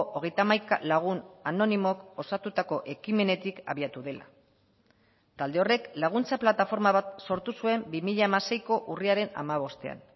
hogeita hamaika lagun anonimok osatutako ekimenetik abiatu dela talde horrek laguntza plataforma bat sortu zuen bi mila hamaseiko urriaren hamabostean